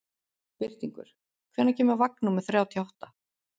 Birtingur, hvenær kemur vagn númer þrjátíu og átta?